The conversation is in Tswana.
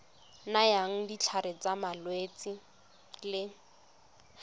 nayang ditlhare tsa malwetse le